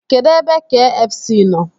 Kedụ ebe kfc nọ?